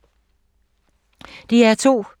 DR2